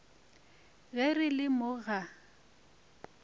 ge re le mo ga